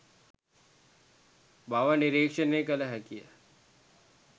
බව නිරීක්ෂණය කළ හැකිය.